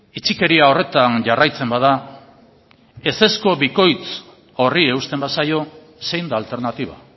itxikeria horretan jarraitzen bada ezezko bikoitz horri eusten bazaio zein da alternatiba